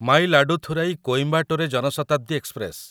ମାୟିଲାଡୁଥୁରାଇ କୋଇମ୍ବାଟୋରେ ଜନ ଶତାବ୍ଦୀ ଏକ୍ସପ୍ରେସ